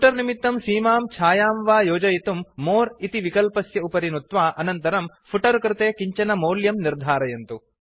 footer निमित्तं सीमां छायां वा योजयितुं मोरे इति विकल्पस्य उपरि नुत्वा अनन्तरं फुटर् कृते किञ्चन मौल्यं निर्धारयन्तु